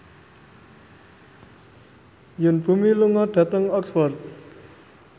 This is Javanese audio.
Yoon Bomi lunga dhateng Oxford